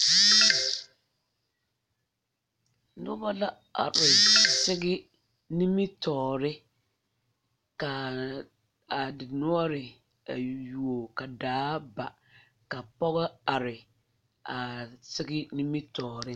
Noba la are sigi nimitɔɔre ka a dendɔre yuo ka daa ba ka pɔgɔ are a sigi nimijtɔɔre.